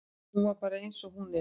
Hún er bara eins og hún er.